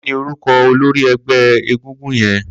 Kini órúkọ̀ ólóri ẹgbẹ égúngún yèn?